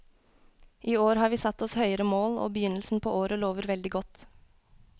I år har vi satt oss høyere mål, og begynnelsen på året lover veldig godt.